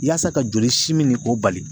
Yaasa ka jolisimi nin k'o bali